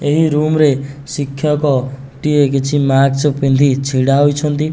ଏହି ରୁମ ରେ ଶିକ୍ଷକଟିଏ କିଛି ମାକ୍ସ ପିନ୍ଧି ଛିଡାହେଇଛନ୍ତି।